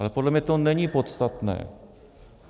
Ale podle mě to není podstatné.